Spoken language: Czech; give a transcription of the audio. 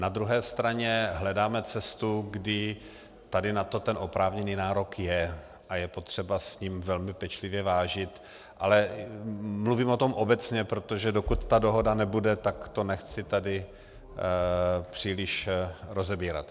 Na druhé straně hledáme cestu, kdy tady na to ten oprávněný nárok je a je potřeba s ním velmi pečlivě vážit, ale mluvím o tom obecně, protože dokud ta dohoda nebude, tak to nechci tady příliš rozebírat.